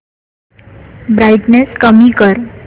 brightness कमी कर